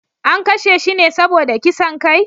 An kashe shi ne saboda kisan kai?